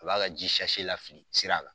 A b'a ka ji lafili sira la.